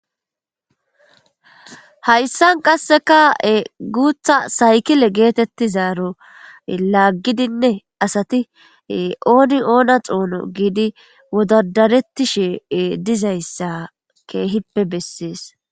Haysan qaseka guta saykile getetizaro lagidine asati oni ona xono gidi wodadaretishe dizaysa kehipe beses.